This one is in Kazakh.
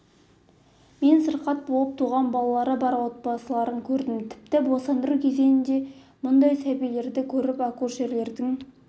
мен сырқат болып туған балалары бар отбасыларын көп көрдім тіпті босандыру кезінде мұндай сәбилерді көріп акушерлердің